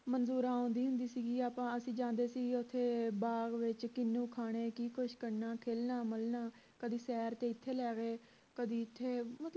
ਆਉਂਦੀ ਹੁੰਦੀ ਸੀ ਗੀ ਆਪਾਂ ਅਸੀਂ ਜਾਂਦੇ ਸੀ ਗੇ ਓਥੇ ਬਾਗ ਵਿਚ ਕਿੰਨੂੰ ਖਾਣੇ ਕਿ ਕੁਸ਼ ਕਰਨਾ ਖੇਲਣਾ ਮਲਣਾ ਕਦੀ ਸੈਰ ਤੇ ਇਥੇ ਲੈ ਗਏ ਕਦੀ ਇਥੇ